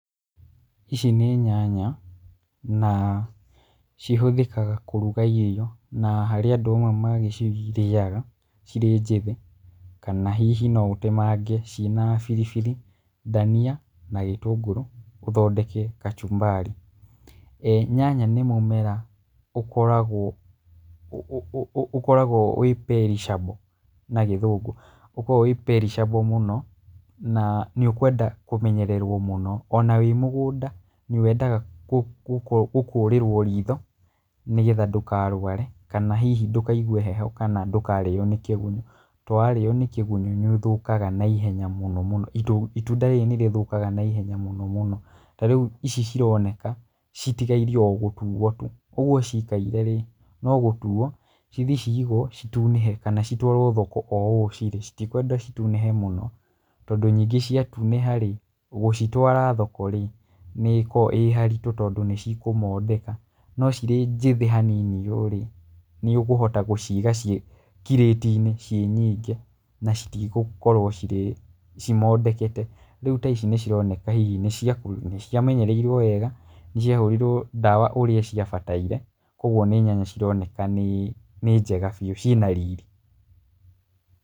Ici nĩ nyanya na cihũthĩkaga kũruga irio na harĩ andũ amwe magĩcirĩaga cirĩ njĩthĩ, kana hihi no ũtemange ciĩna biribiri, ndania na gĩtũngũrũ ũthondeke kachumbari. E nyanya nĩ mũmera ũkoragwo wĩ perishable na gĩthũngũ, ũkoragwo wĩ perishable mũno na nĩ ũkwenda kũmenyererwo mũno. Ona wĩ mũgũnda nĩ wendaga gũkũrĩrwo ritho nĩgetha ndũkarware kana hihi ndũkaigwe hehe kana ndũkarĩo nĩ kĩgunyũ. Tondũ warĩo nĩ kĩgunyũ nĩ ũthũkaga naihenya mũno mũno, itunda rĩu nĩ rĩthũkaga naihenya mũno mũno. Ta rĩu ici cironeka citigaire o gũtuo tu ũguo ciikaire rĩ, no gũtuo cithiĩ ciigwo citunĩhe kana citwarwo thoko o ũũ cirĩ. Citikwendwo citunĩhe mũno tondũ nyingĩ ciatunĩha rĩ, gũcitwara thoko rĩ nĩ ĩkoragwo ĩĩ haritũ tondũ nĩ cikũmondeka. No cirĩ njĩthĩ hanini ũũ rĩ, nĩ ũkũhota gũciiga ciĩ kirĩti-inĩ ciĩ nyingĩ, na citigũkrwo cimondekete. Rĩu ta ici nĩ cironeka hihi nĩ cia menyereirwo wega, nĩ ciahũrirwo ndawa ũrĩa ciabataire, koguo nĩ nyanya cironeka nĩ njega biũ ciĩna riri.